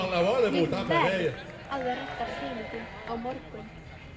Ég verð að redda peningum á morgun.